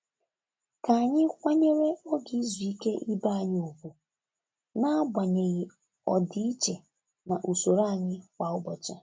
Ka anyị kwanyere oge izu ike ibe anyị ùgwù n'agbanyeghị ọdịiche na usoro anyị kwa ụbọchị.